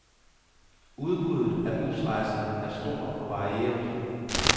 Udbuddet af busrejser er stort og varieret.